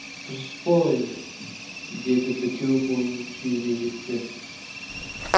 дұрыс қой деді бітеу мойын күйбежектеп